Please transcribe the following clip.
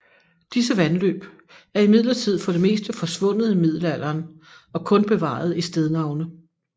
Disse vandløb er imidlertid for det meste forsvundet i middelalderen og kun bevaret i stednavne